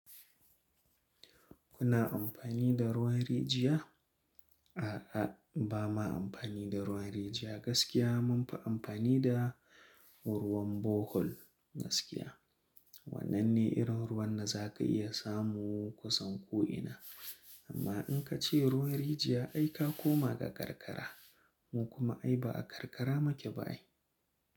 Kuna amfani da ruwan rijiya? A'a, ba ma amfani da ruwan rijiya gaskiya munfi amfani da ruwan Bohol, gaskiya. Wannan ne irin ruwan da za ka iya samu kusan ko'ina. Amma in ka ce ruwan rijiya ai ka koma ga karkara, mu kuma ai ba a karkara maki ba ai.